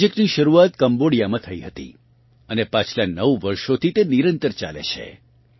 આ પ્રોજેક્ટની શરૂઆત કમ્બોડિયામાં થઇ હતી અને પાછલાં નવ વર્ષોથી તે નિરંતર ચાલે છે